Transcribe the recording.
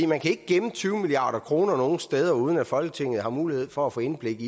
man kan ikke gemme tyve milliard kroner nogen steder uden at folketinget har mulighed for at få indblik